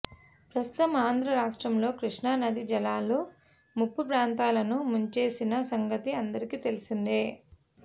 ప్రస్తుతం ఆంధ్ర రాష్ట్రంలో కృష్ణా నదీ జలాలు ముంపు ప్రాంతాలను ముంచేసిన సంగతి అందరికి తెలిసిందే